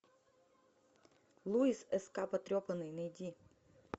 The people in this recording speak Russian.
луис ск потрепанный найди